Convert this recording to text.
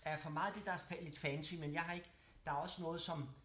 Ja for meget af det der er lidt fancy men jeg har ikke der er også noget som